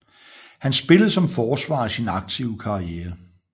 Han spillede som forsvar i sin aktive karriere